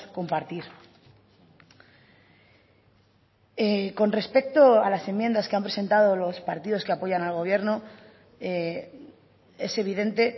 compartir con respecto a las enmiendas que han presentado los partidos que apoyan al gobierno es evidente